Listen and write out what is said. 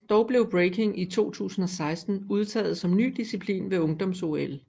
Dog blev Breaking i 2016 udtaget som ny disciplin ved ungdoms OL